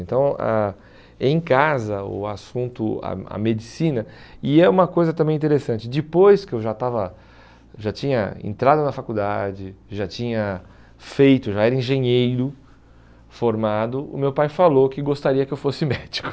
Então, ah em casa, o assunto, a a medicina, e é uma coisa também interessante, depois que eu já estava, já tinha entrado na faculdade, já tinha feito, já era engenheiro formado, o meu pai falou que gostaria que eu fosse médico.